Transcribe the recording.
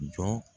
Jɔ